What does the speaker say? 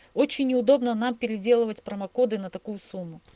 очень удобно нам переделывать промокоды на такую сумму